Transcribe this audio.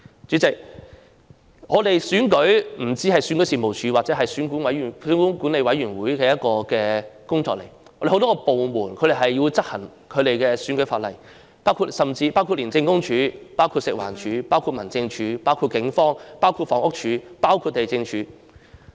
主席，選舉不單是選舉事務處或選舉管理委員會的工作，有很多部門也要執行選舉法例，包括廉政公署、食物環境衞生署、民政事務總署、警方、房屋署及地政總署。